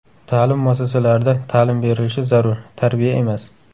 Ta’lim muassasalarida ta’lim berilishi zarur, tarbiya emas.